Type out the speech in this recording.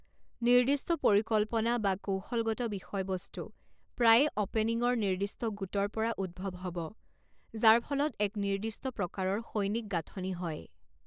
নিৰ্দিষ্ট পৰিকল্পনা বা কৌশলগত বিষয়বস্তু প্ৰায়ে অ'পেনিংৰ নিৰ্দিষ্ট গোটৰ পৰা উদ্ভৱ হ'ব যাৰ ফলত এক নিৰ্দিষ্ট প্ৰকাৰৰ সৈনিক গাঁথনি হয়।